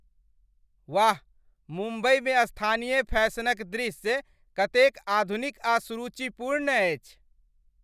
वाह, मुम्बइमे स्थानीय फैशनक दृश्य कतेक आधुनिक आ सुरुचिपूर्ण अछि।